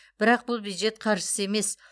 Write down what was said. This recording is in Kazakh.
бірақ бұл бюджет қаржысы емес